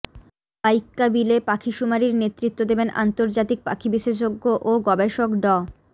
বাইক্কা বিলে পাখিশুমারির নেতৃত্ব দেবেন আন্তর্জাতিক পাখি বিশেষজ্ঞ ও গবেষক ড